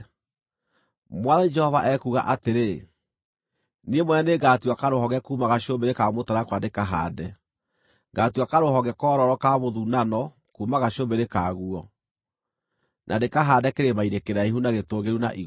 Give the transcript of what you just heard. “ ‘Mwathani Jehova ekuuga atĩrĩ: Niĩ mwene nĩngatua karũhonge kuuma gacũmbĩrĩ ka mũtarakwa ndĩkahaande. Ngaatua karũhonge koororo ka mũthunano kuuma gacũmbĩrĩ kaguo, na ndĩkahaande kĩrĩma-inĩ kĩraihu na gĩtũũgĩru na igũrũ.